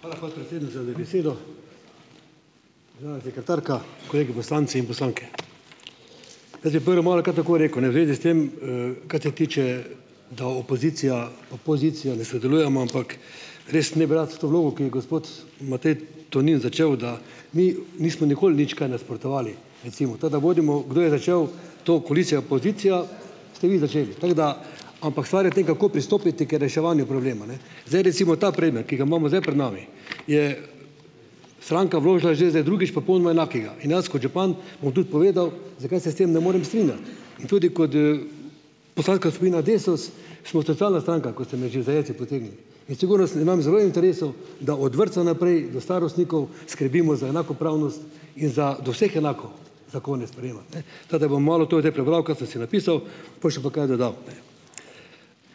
Hvala, podpredsednica, za besedo. Državna sekretarka, kolegi poslanci in poslanke. Jaz bi prvo malo kar tako rekel, ne, v zvezi s tem, kar se tiče, da opozicija pa pozicija ne sodelujemo, ampak res ne bi rad to vlogo, ki jo gospod Matej Tonin začel, da mi nismo nikoli nič kaj nasprotovali. Recimo. To, da budemo, kdo je začel to koalicija-opozicija, ste vi začeli. Tako da ... Ampak stvar je v tem, kako pristopiti k reševanju problema, ne. Zdaj recimo ta predmet, ki ga imamo zdaj pred nami je stranka vložila zdaj zdaj drugič popolnoma enakega in jaz kot župan, bom tudi povedal, zakaj se s tem ne morem strinjati. In tudi kot, poslanska skupina Desus, smo socialna stranka, kot ste me že za jajca potegnil, in sigurno se imam zelo v interesu, da od vrtca naprej do starostnikov skrbimo za enakopravnost in za, do vseh enako, zakone sprejemati, ne. Tako da bom malo to zdaj prebral, kar sem si napisal, po še pa kaj dodal.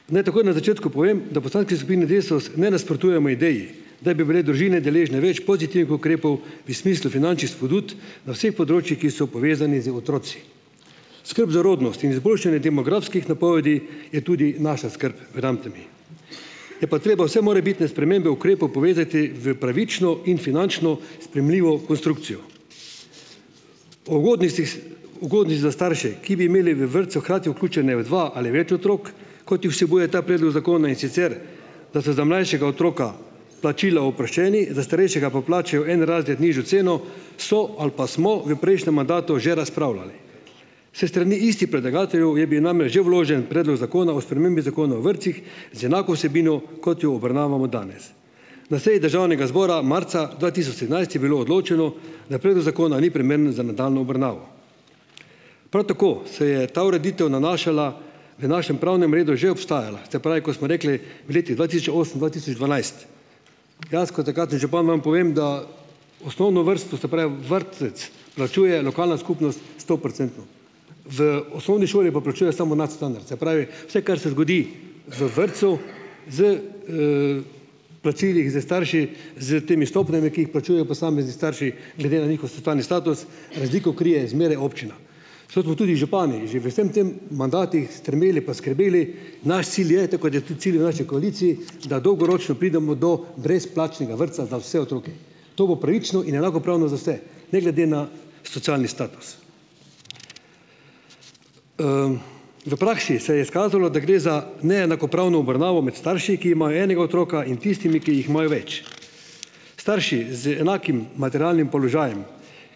Naj takoj na začetku povem, da v poslanski skupini Desus ne nasprotujemo ideji, da bi bile družine deležne več pozitivih ukrepov v smislu finančnih spodbud na vseh področjih, ki so povezani z otroki. Skrb za rodnost in izboljšanje demografskih napovedi je tudi naša skrb, verjemite mi, je pa treba vse morebitne spremembe ukrepov povezati v pravično in finančno sprejemljivo konstrukcijo. O ugodnostih, ugodnih za starše, ki bi imeli v vrtcu hkrati vključena v dva ali več otrok, kot jih vsebuje ta predlog zakona, in sicer da so za mlajšega otroka plačila oproščeni, za starejšega pa plačajo en razred nižjo ceno, so ali pa smo v prejšnjem mandatu že razpravljali. S strani istih predlagateljev je bil namreč že vložen predlog zakona o spremembi Zakona vrtcih, z enako vsebino, kot jo obravnavamo danes. Na seji državnega zbora marca dva tisoč sedemnajst je bilo odločeno, da predlog zakona ni primeren za nadaljnjo obravnavo. Pol tako, se je ta ureditev nanašala, v našem pravnem redu že obstajala, se pravi, ko smo rekli v letih dva tisoč osem-dva tisoč dvanajst. Dejansko takratni župan vam povem, da osnovno vrsto, se pravi vrtec, plačuje lokalna skupnost stoprocentno, v osnovni šoli pa plačuje samo nadstandard, se pravi, vse kar se zgodi v vrtcu s, plačili, s starši, s temi stopnjami, ki jih plačujejo posamezni starši glede na njihov socialni status, razliko krije zmeraj občina. So to tudi župani že v vsem tem mandatih strmeli pa skrbeli, naš cilj je, tako kot je tudi cilj v naši koaliciji, da dolgoročno pridemo do brezplačnega vrtca za vse otroke. To bo pravično in enakopravno za vse, ne glede na socialni status. V praksi se je izkazalo, da gre za neenakopravno obravnavo med starši, ki imajo enega otroka, in tistimi, ki jih imajo več. Starši z enakim materialnim položajem,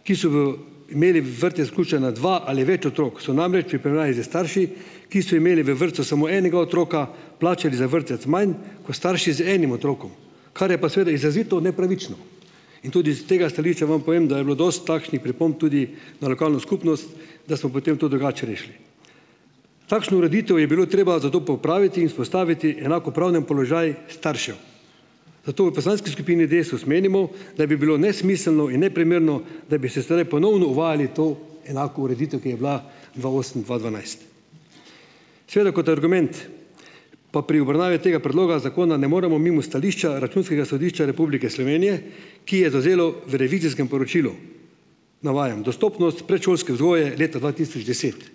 ki so v imeli v vrtec vključena dva ali več otrok, so namreč v primerjavi s starši, ki so imeli v vrtcu samo enega otroka, plačali za vrtec manj ko starši z enim otrokom, kar je pa seveda izrazito nepravično. In tudi s tega stališča vam povem, da je bilo dosti takšnih pripomb tudi na lokalno skupnost, da smo potem to drugače rešili. Takšno ureditev je bilo treba zato popraviti in vzpostaviti enakopraven položaj staršev. Zato u poslanski skupini Desus menimo, da bi bilo nesmiselno in neprimerno, da bi se zdajle ponovno uvajali to enako ureditev, ki je bila dva osem-dva dvanajst. Seveda kot argument pa pri obravnavi tega predloga zakona ne moremo mimo stališča Računskega sodišča Republike Slovenije, ki je zavzelo v revizijskem poročilu, navajam: "Dostopnost predšolske vzgoje leta dva tisoč deset."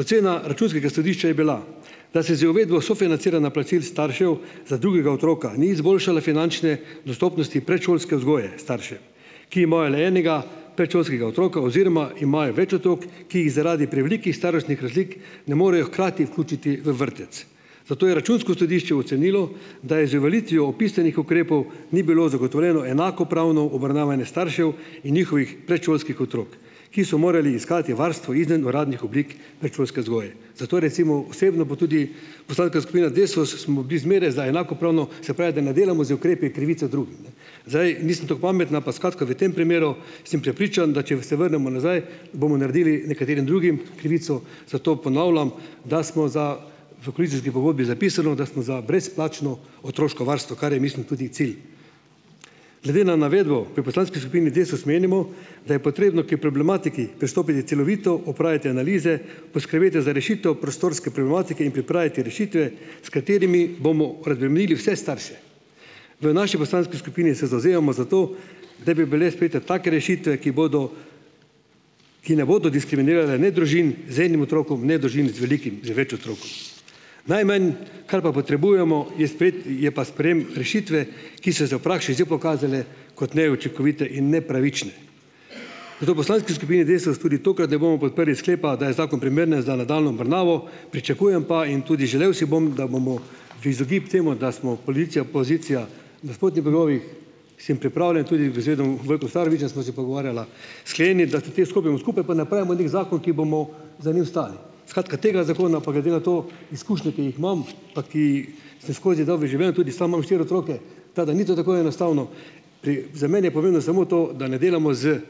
Ocena računskega sodišča je bila, da se z uvedbo sofinanciranja plačil staršev za drugega otroka ni izboljšala finančne dostopnosti predšolske vzgoje staršev, ki imajo le enega predšolskega otroka oziroma imajo več otrok, ki jih zaradi prevelikih starostnih razlik ne morejo hkrati vključiti v vrtec. Zato je računsko sodišče ocenilo, da je z uveljavitvijo opisanih ukrepov ni bilo zagotovljeno enakopravno obravnavanje staršev in njihovih predšolskih otrok, ki so morali iskati varstvo izven uradnih oblik predšolske vzgoje. Zato recimo osebno, pa tudi .. Poslanska skupina Desus smo bili zmeraj za enakopravno, se pravi, da ne delamo z ukrepi krivice drugim. Zdaj, nisem tako pameten, ampak skratka v tem primeru, sem prepričan, da če se vrnemo nazaj, bomo naredili nekaterim drugim krivico, zato ponavljam, da smo za, v koalicijski pogodbi zapisano, da smo za brezplačno otroško varstvo, kar je mislim tudi cilj. Glede na navedbo pri poslanski skupini Desus menimo, da je potrebno pri problematiki pristopiti celovito, opraviti analize, poskrbeti za rešitev prostorske problematike in pripraviti rešitve, s katerimi bomo razbremenili vse starše. V naši poslanski skupini se zavzemamo za to, da bi bile sprejete take rešitve, ki bodo, ki ne bodo diskriminirale ne družin z enim otrokom ne družin z velikim, z več otrok. Najmanj, kar pa potrebujemo, je sprejet, je pa sprejem rešitve, ki so zdaj v praksi zdaj pokazale kot neučinkovite in nepravične. Zato v poslanski skupini Desus tudi tokrat ne bomo podprli sklepa, da je zakon primeren za nadaljnjo obravnavo, pričakujem pa in tudi želel si bom, da bomo v izogib temu, da smo koalicija, pozicija, nasprotnih bregovih, sem pripravljen tudi vezedem, Vojkom Starovićem sva se pogovarjala, skleniti, da te stopimo skupaj, pa napravimo neki zakon, ki bomo za njim stali. Skratka, tega zakona pa glede na to, izkušnje, ki jih imam, pa ki samo skozi dobi živel, tudi sam imam štiri otroke, tako da ni to tako enostavno. Pri, za mene je pomembno samo to, da ne delamo z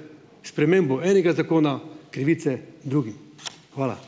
spremembo enega zakona krivice drugim. Hvala.